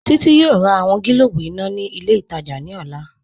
Títí yọọ̀ rà awọn gílòbù iná ni ilẹ̀ itajà ni ọlá